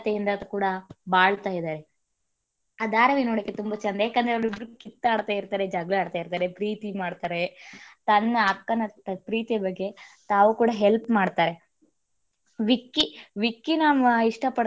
ಇಂದ ಕೂಡ ಬಾಳ್ತಾ ಇದ್ದಾರೆ ಆ ಧಾರಾವಾಹಿ ನೋಡಕ್ಕೆ ತುಂಬಾ ಚೆಂದ ಯಾಕಂದ್ರೆ ಅವರಿಬ್ಬರೂ ಕಿತ್ತಾಡ್ತಿರ್ತಾರೆ ಜಗಳ ಆಡ್ತಿರ್ತಾರೆ ಪ್ರೀತಿ ಮಾಡ್ತಾರೆ ತನ್ನ ಅಕ್ಕನ ಪ್ರೀತಿಯ ಬಗ್ಗೆ ತಾವು ಕೂಡ help ಮಾಡ್ತಾರೆ ವಿಕ್ಕಿ ವಿಕ್ಕಿನ ಇಷ್ಟ ಪಡ್ಡೆ ಇರೋ ಅಂತ.